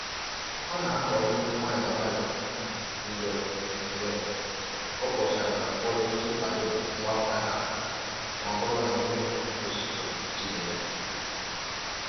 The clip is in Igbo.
O na-akọ mmiri nwayọ nwayọ mgbe mgbe ọ kpọchara mkpụrụ iji kwado mgbapụta ha ma ọ bụrụ na mmiri ozuzo jidere